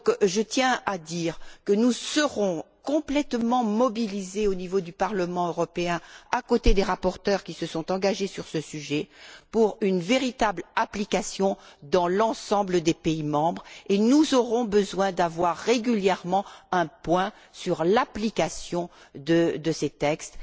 Je tiens à dire que nous serons complètement mobilisés au niveau du Parlement européen, à côté des rapporteurs qui se sont engagés sur ce sujet, pour qu'il y ait une véritable application dans l'ensemble des pays membres, et nous aurons besoin d'avoir régulièrement un point sur l'application de ces textes.